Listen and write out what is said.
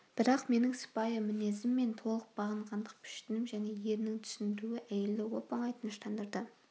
бірақ менің сыпайы мінезім мен толық бағынғандық пішінім және ерінің түсіндіруі әйелді оп-оңай тыныштандырды